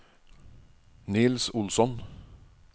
Niels Olsson